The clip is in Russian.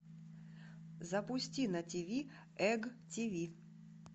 запусти на ти ви эг ти ви